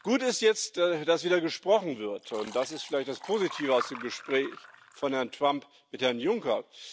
Gut ist jetzt, dass wieder gesprochen wird, und das ist vielleicht das Positive aus dem Gespräch von Herrn Trump mit Herrn Juncker.